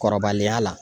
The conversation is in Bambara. Kɔrɔbaliya la